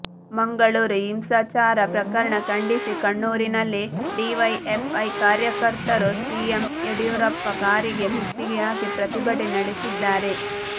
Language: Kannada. ಮಂಗಳೂರು ಹಿಂಸಾಚಾರ ಪ್ರಕರಣ ಖಂಡಿಸಿ ಕಣ್ಣೂರಿನಲ್ಲಿ ಡಿವೈಎಫ್ ಐ ಕಾರ್ಯಕರ್ತರು ಸಿಎಂ ಯಡಿಯೂರಪ್ಪ ಕಾರಿಗೆ ಮುತ್ತಿಗೆ ಹಾಕಿ ಪ್ರತಿಭಟನೆ ನಡೆಸಿದ್ದಾರೆ